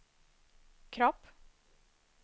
kropp